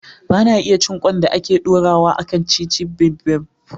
Ba na iya cin ƙwan da ake ɗorawa a kan "ceviche bibimbap".